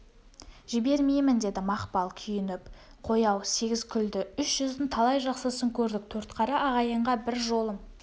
жібермеймін деді мақпал күйініп қой-ау сегіз күлді үш жүздің талай жақсысын көрдік төртқара ағайынға бір жолым